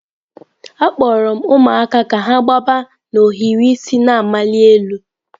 Akpọrọ m ụmụaka ka ha gbaba n'ohiri isi na-amali elu.